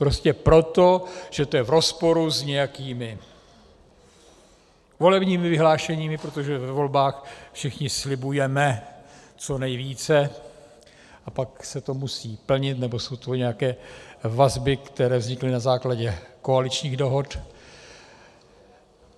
Prostě proto, že to je v rozporu s nějakými volebními vyhlášeními, protože ve volbách všichni slibujeme co nejvíce a pak se to musí plnit, nebo jsou to nějaké vazby, které vznikly na základě koaličních dohod.